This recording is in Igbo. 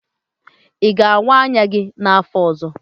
Ị ga-awaa anya gi n'afọ ọzọ?